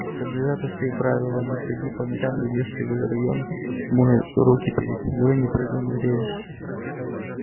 соблюдай простые правила не броди по ночам не лезь в чужие районы мой руки перед едой не прыгай на рельсы